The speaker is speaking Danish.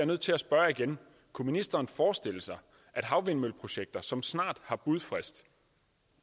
nødt til at spørge igen kunne ministeren forestille sig at havvindmølleprojekter som snart har budfrist